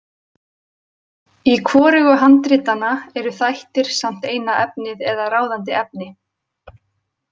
Í hvorugu handritanna eru þættir samt eina efnið eða ráðandi efni.